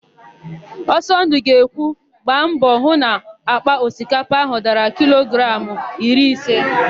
Ọsọndụ ga-ekwu, "gba mbọ hụ na àkpà osikapa áhụ̀ dara kilogramụ iri ise"!